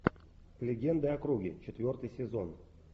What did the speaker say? легенды о круге четвертый сезон